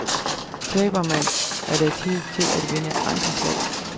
Taber man, er der tid til at vinde andre slag.